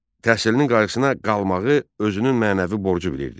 Təhsilinin qayğısına qalmağı özünün mənəvi borcu bilirdi.